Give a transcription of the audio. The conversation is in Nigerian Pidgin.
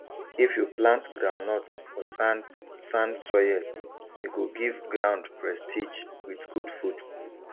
if you plant groundnut for sandsand soil e go give ground prestige with good food